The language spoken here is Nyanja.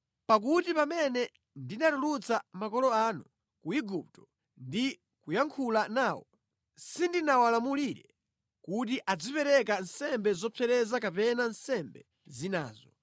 Pakuti pamene ndinatulutsa makolo anu ku Igupto ndi kuyankhula nawo, sindinawalamulire kuti azipereka nsembe zopsereza kapena nsembe zinazo,